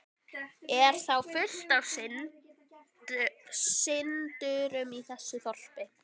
Er þá fullt af syndurum í þessu þorpi?